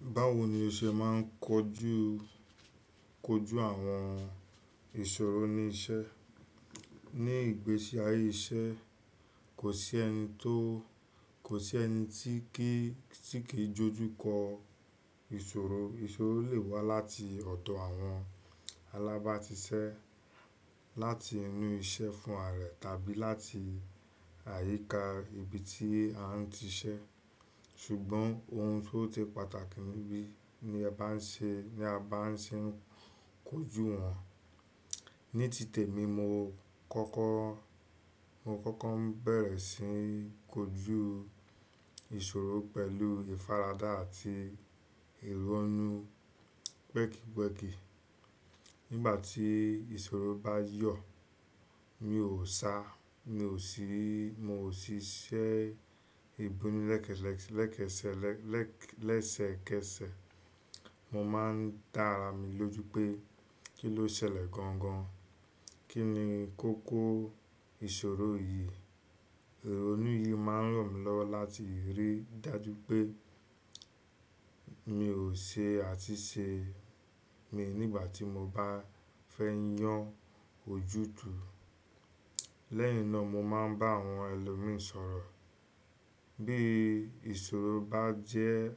Báwo ni o ṣe máa ń kojú, kojú àwọn ìṣòro ní iṣẹ́? Ní ìgbésí ayé iṣẹ́, kò sí ẹni tó, kò sí ẹni tí kì í, tí kì í jọjú kọ ìṣòro. Ìṣòro lè wá láti ọ̀dọ̀ àwọn alábàásiṣẹ́, láti inú iṣẹ́ fún ààrẹ tàbí láti àyíká ibi tí a ń iṣẹ́. Ṣùgbọ́n ohun tó se pàtàkì níbí ní a bá ń ṣe, ní a bá ń ṣe kojú wọn. Ní tìtẹ̀ mi, mo kọ́kọ́, mo kọ́kọ́ ń bẹ̀rẹ̀ sí n kojú ìṣòro pẹ̀lú ìfaradà àti ìrọ́nu pẹ́kìpẹ́kì. Nígbà tí ìṣòro bá yọ̀, mi ò sá, mi ò sí, mo ò sí ṣẹ́ ìpinnú lẹ́kẹ́lẹ̀, lẹ́kẹ́sẹ̀, lẹ́sẹ́kẹ̀se. Mo máa ń dá ara mi lójú pé kí ló ṣẹlẹ̀ gangan? Kí ni kókó ìṣòro yìí? Irọ̀nú yìí máa ń ràn mí lọ́wọ́ láti rí dájú pé mi ò ṣe àsìsẹ̀ mi nígbà tí mo bá fẹ́ yàn ojútùú. Lẹ́yìn náà mo máa ń bá àwọn ẹlòmín sọ̀rọ̀. Bí ìṣòro bá jẹ́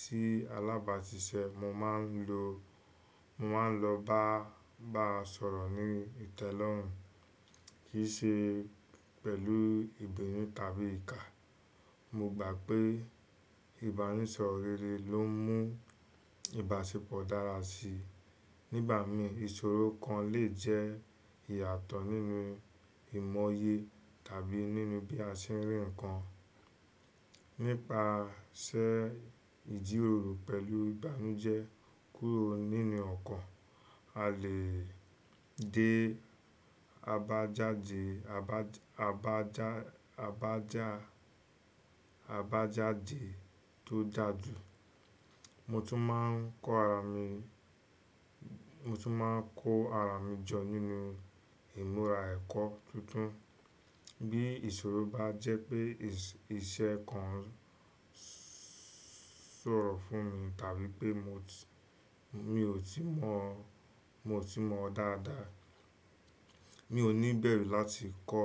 sí alábààsiṣẹ́, mo máa ń lo, mo máa ń lọ bá, baá sọ̀rọ̀ ní ìtẹ́lọ́rùn kì í ṣe pẹ̀lú ìbinú tàbí ìkà. Mo gbà pé ìbánisọ̀rọ̀ rere ló ń mú ìbáṣepọ̀ dára síi. Ní ìbà mí, ìṣòro kan lè jẹ́ ìyàtọ̀ nínú ìmọye tàbí nínú bí a ṣe ń rí ǹkan. Nípasẹ̀ ìjíròrò pẹ̀lú ìbánújẹ́ kúrò nínú ọkàn, a lè dé abajáde, abajá, abajá, abajáde tó dáa jù. Mo tún máa ń kó ara mi, mo tún máa ń kó ara mi jọ nínú ìmúra ẹ̀kọ́ tuntun. Bí ìṣòro bá jẹ́ pé iṣẹ́ kan ń sọ̀rọ̀ fún mi tàbí pé mo ti, mi ò tí mọ̀, mo ò tí mọ̀ dáadáa, mi ò ní bẹ̀rù láti kọ́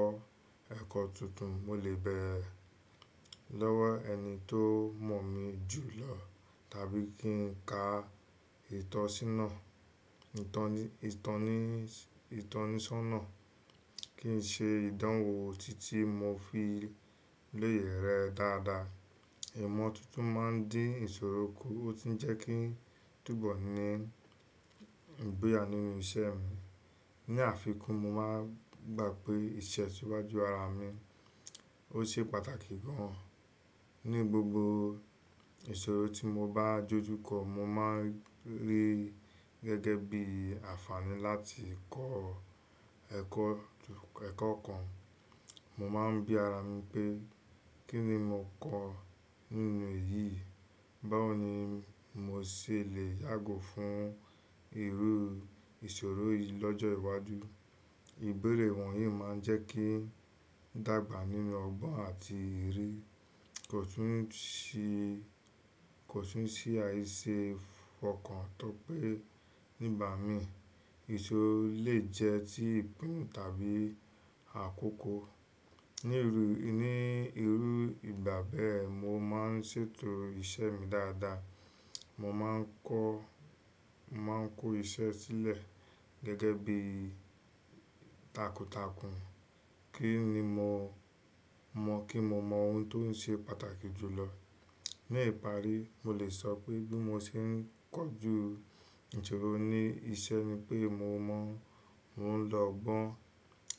ẹ̀kọ́ tuntun. Mo lè bẹ̀rẹ̀ lọ́wọ́ ẹni tó mọ̀ mí jù lọ tàbí kí n ka ìtọ́sínà, ìtọni, ìtọnis, ìtọnisọ́nà kí n ṣe ìdánwò títí mo fi lè rẹ́ẹ́ dáadáa. Ìmọ̀ tuntun máa ń dín ìṣòro kù, ó tun jẹ́ kí n túbọ̀ ní ìgboya nínú ìṣe mi. Ni àfikún, mo máa ń gbà pé itesiwajutó ara mi, ó ṣe pàtàkì gan. Ní gbogbo ìṣòro tí mo bá dọjú kọ, mo máa ń rí gẹ́gẹ́ bí àfààní láti kọ́ ẹ̀kọ́, ẹ̀kọ́ kan. Mo máa ń bí ara mi pé kí ni mo kọ́ nínú èyí? Báwo ni mo ṣe lè yàgò fún irú ìṣòro yìí lọ́jọ́ iwájú? Ìbéèrè wọ̀nyí máa ń jẹ́ kí n dàgbà nínú ọgbọ́n àti ìrírí. Kò tun ṣe kò sì ń ṣì àìṣe ọ̀kan tó pé nígbà mí. Ìṣòro lè jẹ́ ti ìpinnu tàbí àkókò. Ní irú, ní irú ìgbà bẹ́ẹ̀, mo máa ń ṣètò iṣẹ́ mi dáadáa. Mo máa ń kọ́, mo máa ń kó iṣẹ́ sílẹ̀ gẹ́gẹ́ bí takuntakun kí n le mo mọ̀, kí n mo mọ ohun tó ń ṣe pàtàkì jù lọ. Ni ipáàrí, mo lè sọ pé bí mo ṣe ń kojú ìṣòro ní iṣẹ́ ni pé mo mọ̀, mo ń lọ gbọ́n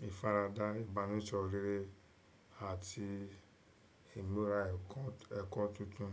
ìfaradà, ìbánisọ̀rọ̀ rere àti ìmúra ẹ̀kọ́, ẹ̀kọ́ tuntun.